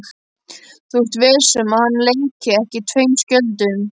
Þú ert viss um að hann leiki ekki tveim skjöldum?